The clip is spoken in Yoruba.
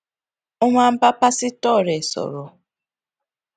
ó máa ń bá pásítò rè sòrò